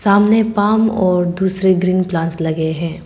सामने पांव और दूसरे ग्रीन प्लांट्स लगे हैं।